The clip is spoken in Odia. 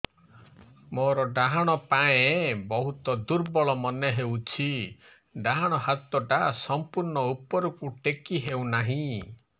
ମୋର ଡାହାଣ ପାଖ ବହୁତ ଦୁର୍ବଳ ମନେ ହେଉଛି ଡାହାଣ ହାତଟା ସମ୍ପୂର୍ଣ ଉପରକୁ ଟେକି ହେଉନାହିଁ